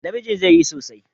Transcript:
Namijin zai yi sosai.